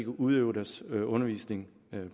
udøve deres undervisning